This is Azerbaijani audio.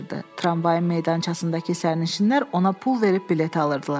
Tramvayın meydançasındakı sərnişinlər ona pul verib bilet alırdılar.